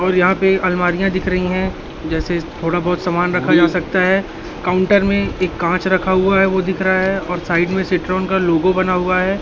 और यहां पे अलमारियां दिख रही है जैसे थोड़ा बहोत सामान रखा जा सकता है काउंटर में एक कांच रखा हुआ है वो दिख रहा है और साइड में सिट्रोन का लोगो बना हुआ है।